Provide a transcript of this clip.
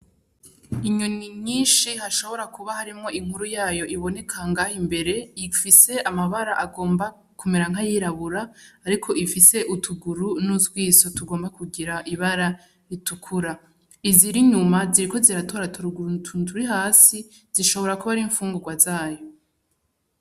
Inyoni nyinshi hashobora kuba harimwo inkuru yayo iboneka ngaha imbere ifise amabara agomba kumera nk'ayirabura ariko ifise utuguru nutwiso tugomba kugira ibara ritukura. Izirinyuma ziriko ziratoratoragura utuntu turihasi zishobora kuba arimfungurwa zayo.